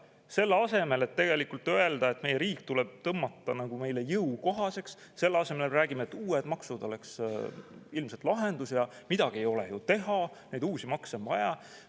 Selle asemel, et tegelikult öelda, et meie riik tuleks tõmmata meile jõukohaseks, me räägime, et uued maksud oleks ilmselt lahendus ja midagi ei ole ju teha, neid uusi makse on vaja.